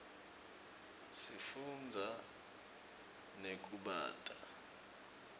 sifunza nekubata